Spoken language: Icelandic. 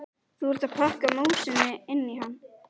Þú ert að pakka músinni inn í hann!